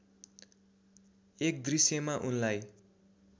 एक दृश्यमा उनलाई